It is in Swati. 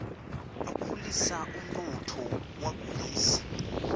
akhulisa umnotfo wakulesi